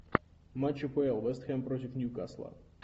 матч апл вест хэм против ньюкасла